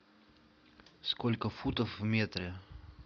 сколько футов в метре